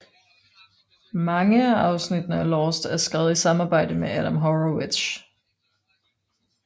Mange af afsnittene til Lost er skrevet i samarbejde med Adam Horowitz